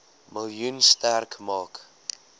miljoen sterk maak